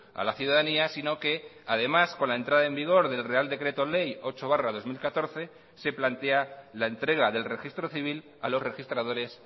a la ciudadanía sino que además con la entrada en vigor del real decreto ley ocho barra dos mil catorce se plantea la entrega del registro civil a los registradores